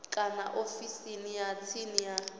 kana ofisini ya tsini ya